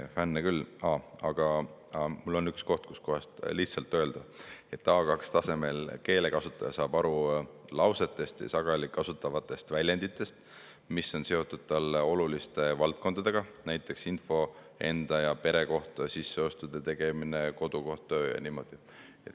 Aga mul on üks koht, kus on lihtsalt öeldud, et A2-tasemel keelekasutaja saab aru lausetest ja sageli kasutatavatest väljenditest, mis on seotud talle oluliste valdkondadega, näiteks info enda ja pere kohta, kodu kohta, sisseostude tegemine ja niimoodi.